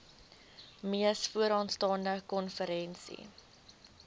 mees vooraanstaande konferensie